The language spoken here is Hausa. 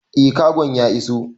Eh kagon ya iso